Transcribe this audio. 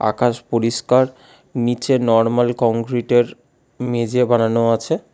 আকাশ পরিষ্কার নীচে নরমাল কংক্রিটের মেঝে বানানো আছে।